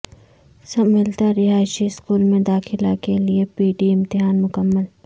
سملتلارہائشی school میں داخلہ کےلئے پی ٹی امتحان مکمل